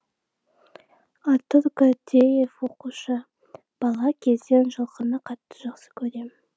артур гордеев оқушы бала кезден жылқыны қатты жақсы көрем